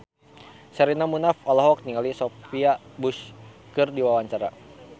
Sherina Munaf olohok ningali Sophia Bush keur diwawancara